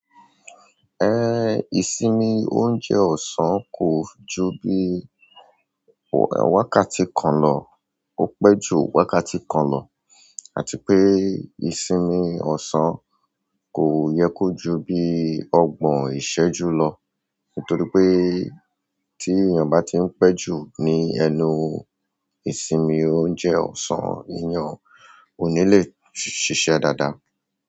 Ìsinmi oúnjẹ ọ̀sán kò ju bí wákàtí kan lọ, ó pẹ́ ju wákàtí kan lọ. Àti pé ìsinmi ọ̀sán kò yẹ kó ju bí ọgbọ̀n ìṣẹ́jú lọ nítorí pé tí èèyàn bá ti ń pẹ́ jù ní ẹnu ìsinmi oúnjẹ ọ̀sán, eyàn ò ní le ṣiṣẹ́ dáadáa.